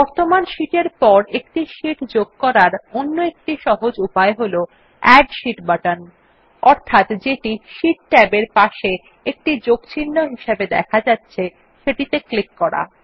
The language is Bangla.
বর্তমান শীট এর পর একটি শীট যোগ করার অন্য একটি সহজ উপায় হল এড শীট বাটন অর্থাৎ যেটি শীট ট্যাব এর পাশের একটি যোগচিহ্ন হিসাবে দেখা যাচ্ছে সেটিতে ক্লিক করা